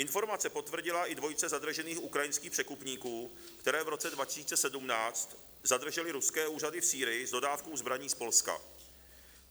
Informace potvrdila i dvojice zadržených ukrajinských překupníků, které v roce 2017 zadržely ruské úřady v Sýrii s dodávkou zbraní z Polska.